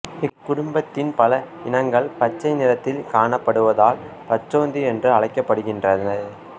இக்குடும்பத்தின் பல இனங்கள் பச்சை நிறத்தில் காணப்படுவதால் பச்சோந்தி என்று அழைக்கப்படுகின்றது